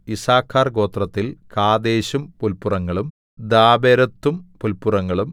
യിസ്സാഖാർ ഗോത്രത്തിൽ കാദേശും പുല്പുറങ്ങളും ദാബെരത്തും പുല്പുറങ്ങളും